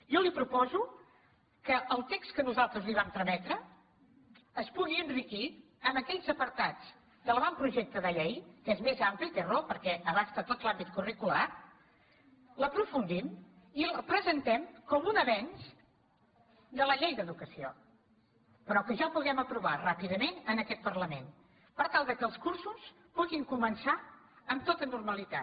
jo li proposo que el text que nosaltres li vam trametre es pugui enriquir amb aquells apartats de l’avantprojecte de llei que és més ampli té raó perquè abasta tot l’àmbit curricular l’aprofundim i el presentem com un avenç de la llei d’educació però que ja el puguem aprovar ràpidament en aquest parlament per tal que els cursos puguin començar amb tota normalitat